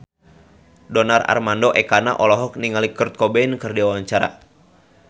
Donar Armando Ekana olohok ningali Kurt Cobain keur diwawancara